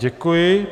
Děkuji.